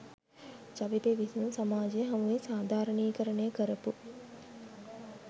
ජවිපෙ විසින් සමාජය හමුවේ සාධාරණීකරණය කරපු